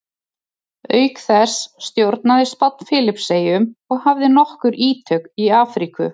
auk þessa stjórnaði spánn filippseyjum og hafði nokkur ítök í afríku